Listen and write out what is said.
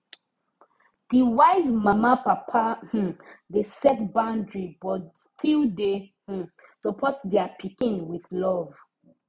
the wise mamapapa um dey set boundary but still dey um support their pikin with love